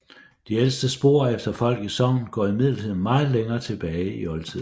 De ældste spor efter folk i sognet går imidlertid meget længere tilbage i oldtiden